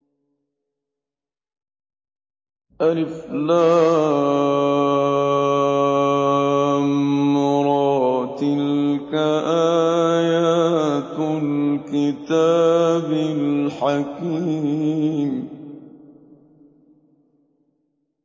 الر ۚ تِلْكَ آيَاتُ الْكِتَابِ الْحَكِيمِ